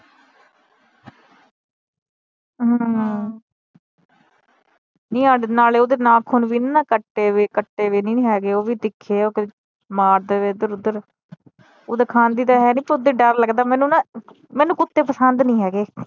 ਨੀ ਹਾਡੇ ਨਾਲੇ ਓਦੇ ਨਾਖੂਨ ਵੀ ਨਹੀਂ ਨਾ ਕੱਟੇ ਹੋਏ, ਕੱਟੇ ਹੋਏ ਨਹੀਂ ਹੈਗੇ ਓਵੀ ਤਿੱਖੇ ਮਾਰਦੇ ਇਧਰ ਓਧਰ ਓਦਾਂ ਖਾਂਦੀ ਤਾ ਹੈਨੀ ਪਰ ਓਦਾਂ ਈ ਡਰ ਲਗਦਾ ਮੈਨੂੰ ਨਾ, ਮੈਨੂੰ ਕੁੱਤੇ ਪਸੰਦ ਨਹੀਂ ਹੈਗੇ।